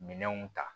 Minɛnw ta